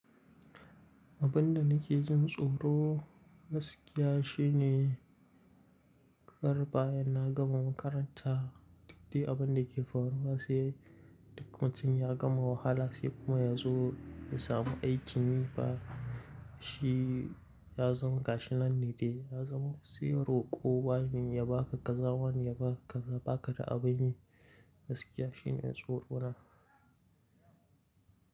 Abin da nake jin tsoro gaskiya shine kar bayan na gama makaranta duk abin da ke faruwa sai duk mutum ya gama wahala sai kuma yazo ya samu aikin yi ba shi ya zama gashinan ne dai ya zama sai roƙo, wane ya baka, kaza wane ya baka, ba ka da abin yi. Gaskiya shine tsoro na.